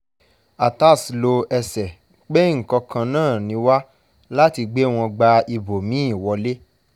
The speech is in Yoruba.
atass lo ẹsẹ̀ pé nǹkan kan náà ni wá láti gbé wọn gba ibòmí-ín wọ̀lé